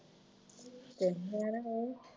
ਤੈਨੂੰ ਕਹਿੰਦੇ ਐ